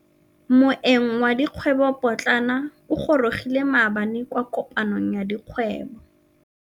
Moêng wa dikgwêbô pôtlana o gorogile maabane kwa kopanong ya dikgwêbô.